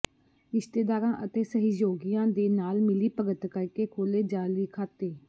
ਰਿਸ਼ਤੇਦਾਰਾਂ ਅਤੇ ਸਹਿਯੋਗੀਆਂ ਦੇ ਨਾਲ ਮਿਲੀ ਭਗਤ ਕਰਕੇ ਖੋਲੇ ਜਾਅਲੀ ਖਾਤੇ